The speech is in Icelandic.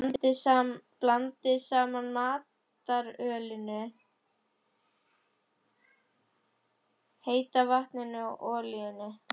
Blandið saman maltölinu, heita vatninu og olíunni.